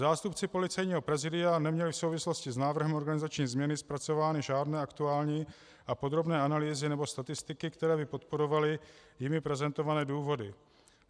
Zástupci Policejního prezidia neměli v souvislosti s návrhem organizační změny zpracovány žádné aktuální a podrobné analýzy nebo statistiky, které by podporovaly jimi prezentované důvody.